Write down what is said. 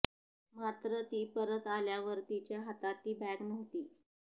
मात्र ती परत आल्यावर तिच्या हातात ती बॅग नव्हती